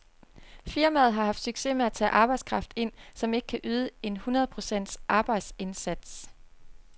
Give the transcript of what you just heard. Firmaet har haft succes med at tage arbejdskraft ind, som ikke kan yde en hundrede procents arbejdsindsats.